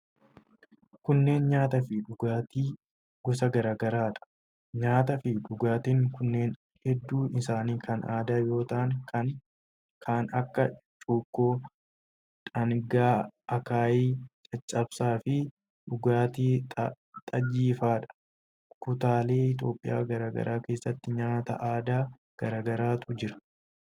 Kunneen nyaata fi dhugaatii gosa garaa garaa dha. Nyaata fi dhugaatiin kunneen hedduun isaanii kan aadaa yoo ta'an kan akka:cukkoo, dhangaa, akaayii, caccabsaa fi dhugaatii xajjii faa dha. Kutaalee Itoophiyaa garaa garaa keessa nyaata aadaa garaa garaatu jira.